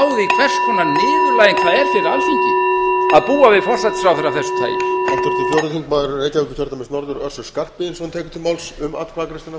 lesa þingskapalögin og átta sig á því hvers konar niðurlæging það er fyrir alþingi að búa við forsætisráðherra af þessu tagi